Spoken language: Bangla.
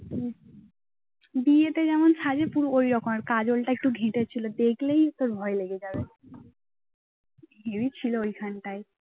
হম বিয়েতে যেরকম সাজে পুরো ওইরকম আর কাজল টা একটু ঘেঁটে ছিল দেখলেই তোর ভয় লেগে যাবে। heavy ছিল ওইখানটায়।